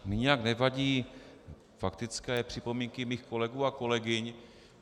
Mně nijak nevadí faktické připomínky mých kolegů a kolegyň.